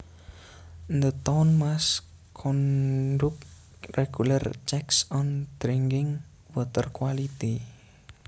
The town must conduct regular checks on drinking water quality